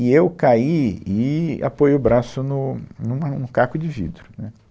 E eu caí e apoiei o braço no, numa, no caco de vidro, né